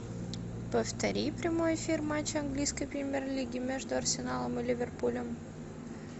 повтори прямой эфир матча английской премьер лиги между арсеналом и ливерпулем